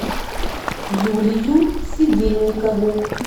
юлию седельникову